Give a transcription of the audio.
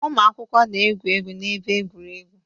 Ụmụ akwụkwọ na-egwu egwu n'ebe egwuregwu.